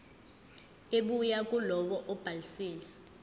ebuya kulowo obhalisile